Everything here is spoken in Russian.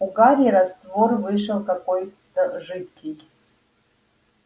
у гарри раствор вышел какой-то жидкий